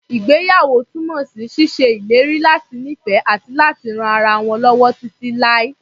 Ìgbéyàwó túnmọ̀ sí ṣíṣe ìlérí láti nífẹ̀ẹ́, àti láti ran ara wọn lọ́wọ́ títí láé.